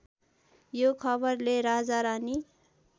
यो खबरले राजारानी